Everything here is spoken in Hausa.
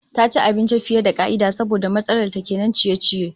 Ta ci abinci fiye da ka'ida saboda matsalar ta kenan ciye-ciye